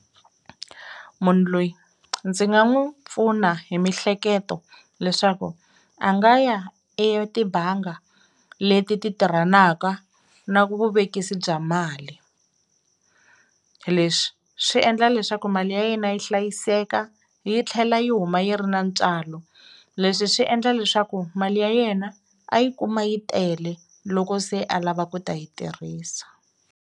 Munhu loyi ndzi nga n'wu pfuna hi mihleketo leswaku a nga ya etibanga leti ti tirhanaka na vuvekisi bya mali, leswi swi endla leswaku mali ya yena yi hlayiseka yi tlhela yi huma yi ri na ntswalo, leswi swi endla leswaku mali ya yena a yi kuma yi tele loko se a lava ku ta yi tirhisa.